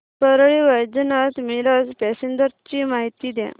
Parli Vaijnath Miraj passenger ची माहिती द्या